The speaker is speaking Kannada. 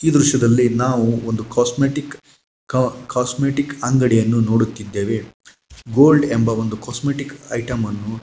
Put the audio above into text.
ಈ ದೃಶ್ಯದಲ್ಲಿ ನಾವು ಒಂದು ಕಾಸ್ಟ್ಮೆಟಿಕ್ ಕ ಕಾಸ್ಟ್ಮೆಟಿಕ್ ಅಂಗಡಿಯನ್ನು ನೋಡುತ್ತಿದ್ದೇವೆ. ಗೋಲ್ಡ್ ಎಂಬ ಕಾಸ್ಟ್ಮೆಟಿಕ್ ಐಟಂ ಅನ್ನು --